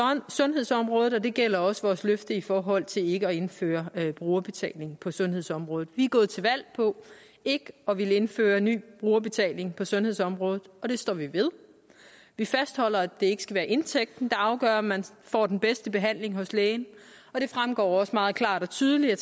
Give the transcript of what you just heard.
sundhedsområdet og det gælder også vores løfte i forhold til ikke at indføre brugerbetaling på sundhedsområdet vi er gået til valg på ikke at ville indføre ny brugerbetaling på sundhedsområdet og det står vi ved vi fastholder at det ikke skal være indtægten der afgør om man får den bedste behandling hos lægen og det fremgår også meget klart og tydeligt af